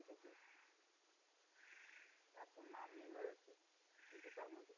এখন নামি হয়ে কিন্তু তারমধ্যে